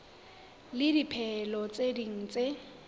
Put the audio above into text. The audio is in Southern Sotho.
le dipehelo tse ding tse